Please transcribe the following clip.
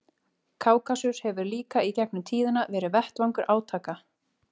Kákasus hefur líka í gegnum tíðina verið vettvangur átaka.